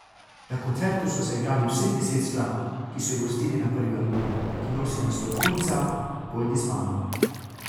Na koncertu so zaigrali vseh deset skladb, ki so jih uvrstili na prvi album, ki nosi naslov Punca, pojdi z mano.